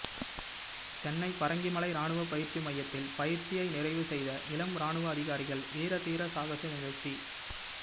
சென்னை பரங்கிமலை ராணுவ பயிற்சி மையத்தில் பயிற்சியை நிறைவு செய்த இளம் ராணுவ அதிகாரிகள் வீர தீர சாகச நிகழ்ச்சி